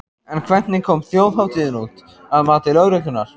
En hvernig kom þjóðhátíðin út, að mati lögreglunnar?